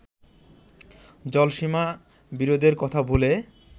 জলসীমা বিরোধের কথা ভুলে